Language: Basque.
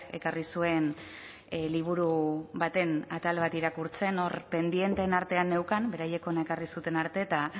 ekarri zuen liburu baten atal bat irakurtzen hor pendienteen artean neukan beraiek hona ekarri zuten arte eta